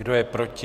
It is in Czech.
Kdo je proti?